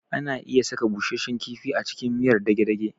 Ana iya saka busashshen kifi a cikin miyar dage-dage